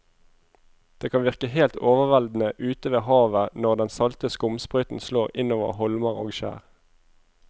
Det kan virke helt overveldende ute ved havet når den salte skumsprøyten slår innover holmer og skjær.